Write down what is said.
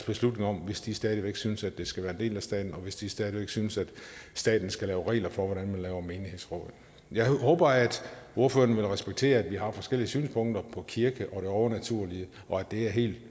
beslutning om hvis de stadig væk synes at det skal være en del af staten og hvis de stadig væk synes at staten skal lave regler for hvordan man laver menighedsråd jeg håber at ordføreren vil respektere at vi har forskellige synspunkter på kirke og det overnaturlige og at det er helt